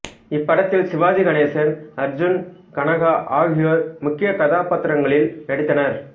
இப் படத்தில் சிவாஜி கணேசன் அர்ஜுன் கனகா ஆகியோர் முக்கிய கதாபாத்திரங்களில் நடித்தனர்